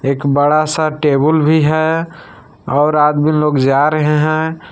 एक बड़ा सा टेबुल भी है और आदमीन लोग जा रहे हैं।